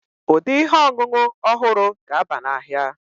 Ụdị ihe ọṅụṅụ ọhụrụ ga-aba n'ahịa.